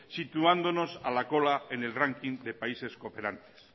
situándonos a la cola en el ranking de países cooperantes